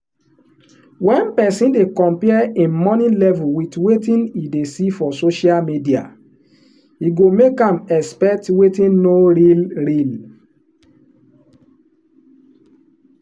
when person dey compare him money level with wetin e dey see for social media e go make am expect wetin no real real